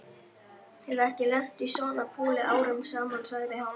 Hef ekki lent í svona púli árum saman sagði hann.